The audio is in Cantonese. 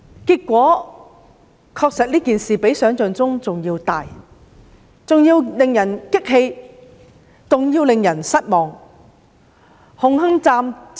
結果，這事件確實較想象中更嚴重、更令人生氣、更令人失望。